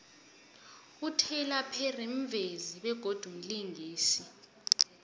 ityler perry mvezi begodu mlingisi